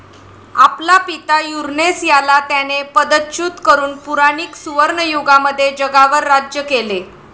आपला पिता युरनेस याला त्याने पदच्युत करून पुराणीक सुवर्णयुगामध्ये जगावर राज्य केले.